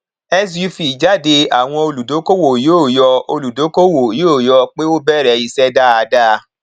suv jáde àwọn olùdókòwò yóò yọ olùdókòwò yóò yọ pé ó bẹrẹ iṣẹ dáadáa